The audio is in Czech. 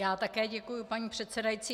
Já také děkuji, paní předsedající.